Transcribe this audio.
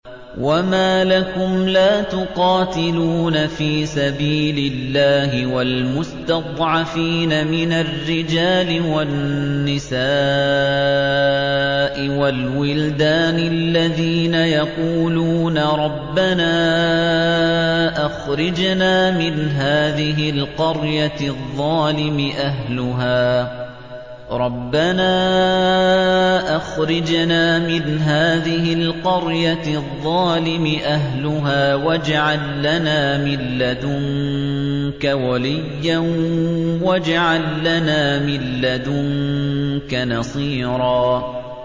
وَمَا لَكُمْ لَا تُقَاتِلُونَ فِي سَبِيلِ اللَّهِ وَالْمُسْتَضْعَفِينَ مِنَ الرِّجَالِ وَالنِّسَاءِ وَالْوِلْدَانِ الَّذِينَ يَقُولُونَ رَبَّنَا أَخْرِجْنَا مِنْ هَٰذِهِ الْقَرْيَةِ الظَّالِمِ أَهْلُهَا وَاجْعَل لَّنَا مِن لَّدُنكَ وَلِيًّا وَاجْعَل لَّنَا مِن لَّدُنكَ نَصِيرًا